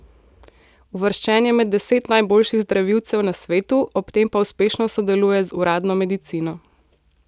Uvrščen je med deset najboljših zdravilcev na svetu, ob tem pa uspešno sodeluje z uradno medicino.